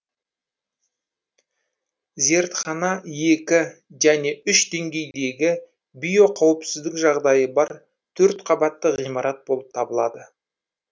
зертхана екі және үш деңгейдегі биоқауіпсіздік жағдайы бар төрт қабатты ғимарат болып табылады